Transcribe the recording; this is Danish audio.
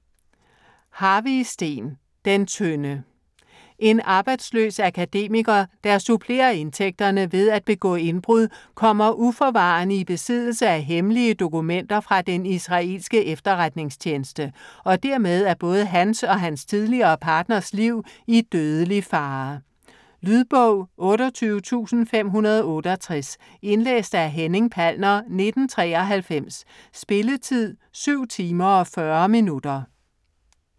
Harvig, Steen: Den tynde En arbejdsløs akademiker, der supplerer indtægterne ved at begå indbrud, kommer uforvarende i besiddelse af hemmelige dokumenter fra den israelske efterretningstjeneste, og dermed er både hans og hans tidligere partners liv i dødelig fare. Lydbog 28568 Indlæst af Henning Palner, 1993. Spilletid: 7 timer, 40 minutter.